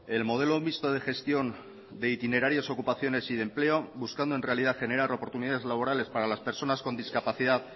el modelo mixto de gestión de itinerarios ocupaciones y de empleo buscando en realidad generar oportunidades laborales para las personas con discapacidad